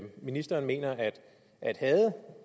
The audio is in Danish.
ministeren mener at